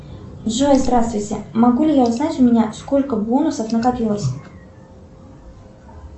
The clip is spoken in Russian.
джой здравствуйте могу ли я узнать у меня сколько бонусов накопилось